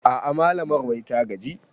A'a malamar wai ta gaji